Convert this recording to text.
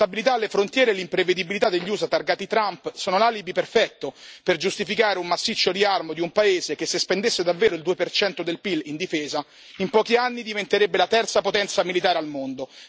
L'instabilità alle frontiere e l'imprevedibilità degli USA targati Trump sono l'alibi perfetto per giustificare un massiccio riarmo di un paese che se spendesse davvero il 2 del PIL in difesa, in pochi anni diventerebbe la terza potenza militare al mondo.